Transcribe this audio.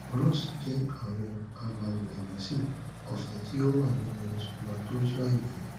ros jẹ àwọn agbawèrèmẹsìn ọfẹ tí ó wà nínú spermatozoa ènìyàn